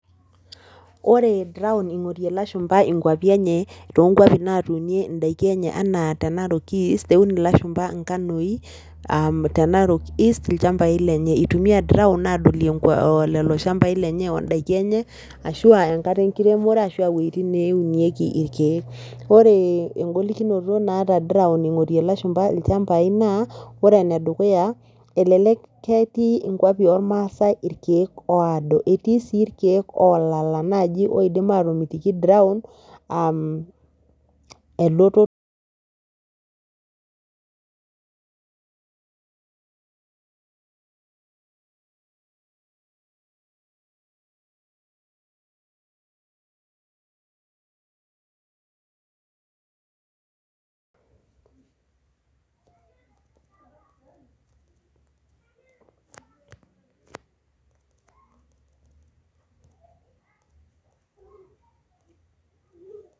Ore drown ingorie ilashumba inkuapi enye, too nkuapi naatuunie, idaiki enye enaa tenarok east eun ilashumba inkanoi, tena narok east itumia drown adolie lelo shampai lenye ashu a daiki enye, iwuejitin neunieki irkeek, ore egolikinoto naata ingorie ilashumba ilchampai naa ore ene dukuya elelek ketii nkuapi oormaasae irkeek ooda etii sii irkeek oolala, ore drown aa elototo,